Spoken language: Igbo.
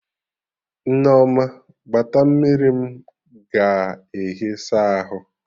Nneoma gbata mmiri m ga ehi saa ahụ